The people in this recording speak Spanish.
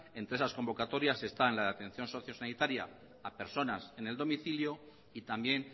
entre esas convocatorias están la de atención socio sanitaria a personas en el domicilio y también